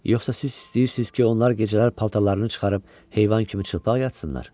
Yoxsa siz istəyirsiniz ki, onlar gecələr paltarlarını çıxarıb heyvan kimi çılpaq yatsınlar?